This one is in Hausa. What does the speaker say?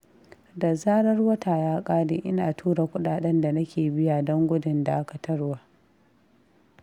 Da zarar wata ya ƙare ina tura kuɗaɗen da nake biya, don gudun dakatarwa.